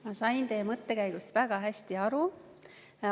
Ma sain teie mõttekäigust väga hästi aru.